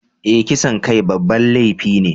Eh, kisan kai babban laifi ne.